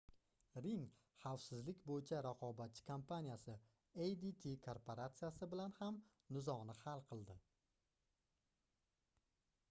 ring xavfsizlik boʻyicha raqobatchi kompaniyasi adt korporatsiyasi bilan ham nizoni hal qildi